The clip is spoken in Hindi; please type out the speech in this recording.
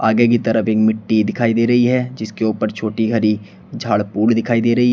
आगे की तरफ एक मिट्टी दिखाई दे रही है जिसके ऊपर छोटी हरि झाड़पुर दिखाई दे रही है।